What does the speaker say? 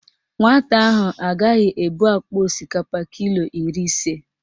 Nwata ahụ agaghị ebu akpa osikapa kilo iri ise.